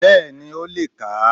Bẹ́ẹ̀ni ó le kà á